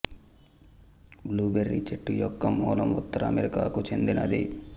blue berry చెట్టు యొక్క మూలం ఉత్తర అమెరికాకు చెందినది